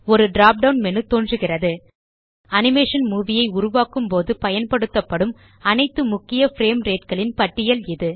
ஒரு drop down menu தோன்றுகிறது animation movie ஐ உருவாக்கும்போது பயன்படுத்தப்படும் அனைத்து முக்கிய பிரேம் rateகளின் பட்டியல் இது